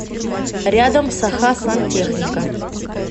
рядом сахасантехника